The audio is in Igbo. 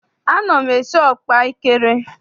Ana m esi ọkpaekere.